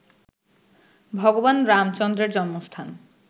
ভগবান রামচন্দ্রের জন্মস্থান